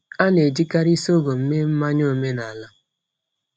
A na-ejikarị sọgọm mee mmanya omenala.